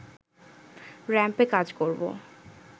র‌্যাম্পে কাজ করব